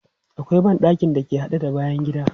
Akwai ban ɗakin da ke haɗe da bayan gida.